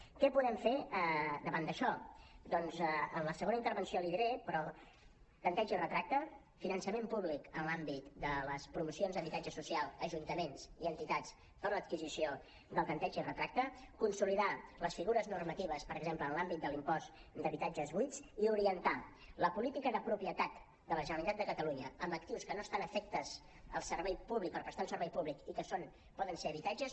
què podem fer davant d’això doncs en la segona intervenció l’hi diré però tanteig i retracte finançament públic en l’àmbit de les promocions d’habitatge social ajuntaments i entitats per a l’adquisició del tanteig i retracte consolidar les figures normatives per exemple en l’àmbit de l’impost d’habitatges buits i orientar la política de propietat de la generalitat de catalunya amb actius que no estan afectes al servei públic per prestar un servei públic i que poden ser habitatge